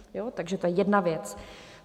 Takže to je jedna věc.